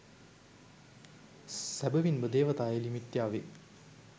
සැබැවින්ම දේවතා එළි මිත්‍යාවේ